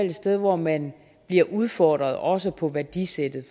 et sted hvor man bliver udfordret også på værdisættet